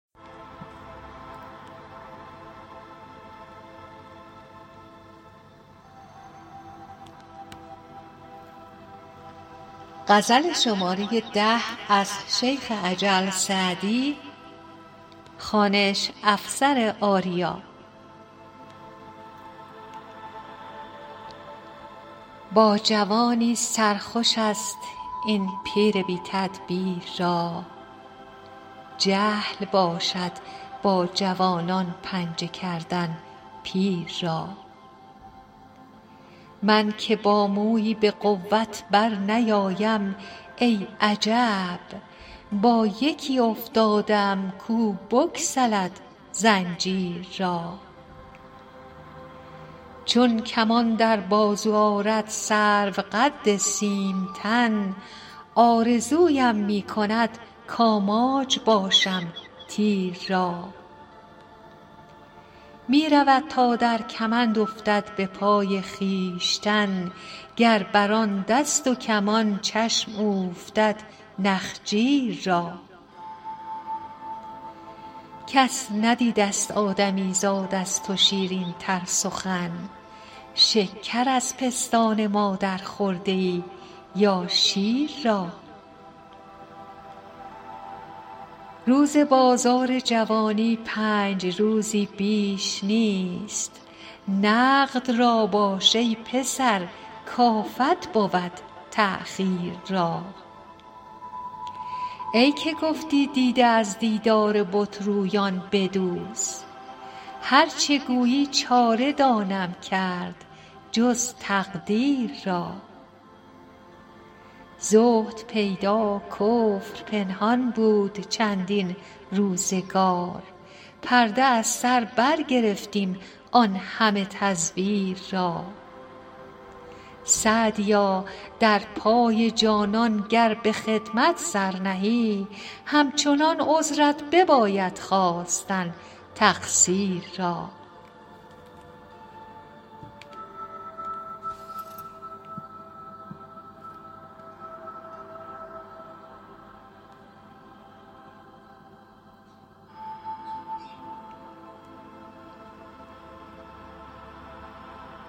با جوانی سر خوش است این پیر بی تدبیر را جهل باشد با جوانان پنجه کردن پیر را من که با مویی به قوت برنیایم ای عجب با یکی افتاده ام کو بگسلد زنجیر را چون کمان در بازو آرد سروقد سیم تن آرزویم می کند کآماج باشم تیر را می رود تا در کمند افتد به پای خویشتن گر بر آن دست و کمان چشم اوفتد نخجیر را کس ندیدست آدمیزاد از تو شیرین تر سخن شکر از پستان مادر خورده ای یا شیر را روز بازار جوانی پنج روزی بیش نیست نقد را باش ای پسر کآفت بود تأخیر را ای که گفتی دیده از دیدار بت رویان بدوز هر چه گویی چاره دانم کرد جز تقدیر را زهد پیدا کفر پنهان بود چندین روزگار پرده از سر برگرفتیم آن همه تزویر را سعدیا در پای جانان گر به خدمت سر نهی همچنان عذرت بباید خواستن تقصیر را